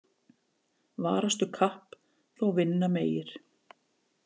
Varastu kapp þó vinna megir.